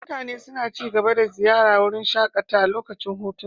Mutane suna ci gaba da ziyartar wurin shakatawa a lokacin hutunsu.